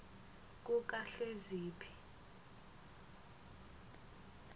kukahleziphi